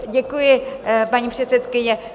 Děkuji, paní předsedkyně.